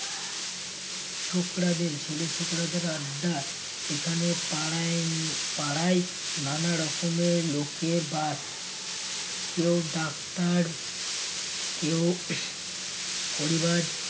ছোকড়াদের ছেলে ছোকড়াদের আড্ডা সেখানে পাড়ায় পাড়ায় নানা রকমের লোকের বাস কেউ ডাক্তার কেউ পরিবার